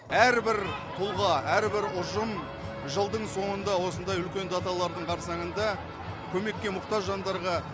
әрбір тұлға әрбір ұжым жылдың соңында осындай үлкен даталардың қарсаңында көмекке мұқтаж жандарға